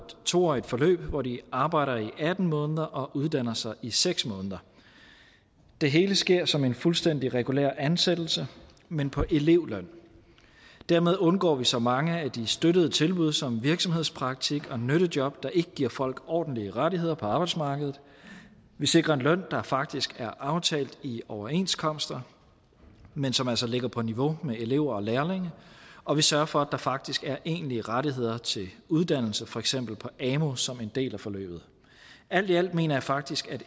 to årig t forløb hvor de arbejder i atten måneder og uddanner sig i seks måneder det hele sker som en fuldstændig regulær ansættelse men på elevløn dermed undgår vi så mange af de støttede tilbud som virksomhedspraktik og nyttejob der ikke giver folk ordentlige rettigheder på arbejdsmarkedet vi sikrer en løn der faktisk er aftalt i overenskomster men som altså ligger på niveau med elever og lærlinge og vi sørger for at der faktisk er egentlige rettigheder til uddannelse for eksempel på amu som en del af forløbet alt i alt mener jeg faktisk